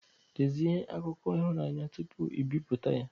Dezie akụkọ ihunanya tupu i bipụta ya